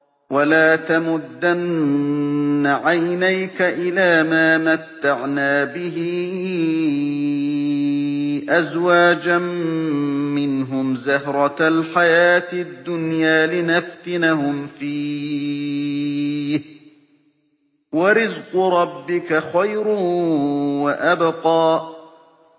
وَلَا تَمُدَّنَّ عَيْنَيْكَ إِلَىٰ مَا مَتَّعْنَا بِهِ أَزْوَاجًا مِّنْهُمْ زَهْرَةَ الْحَيَاةِ الدُّنْيَا لِنَفْتِنَهُمْ فِيهِ ۚ وَرِزْقُ رَبِّكَ خَيْرٌ وَأَبْقَىٰ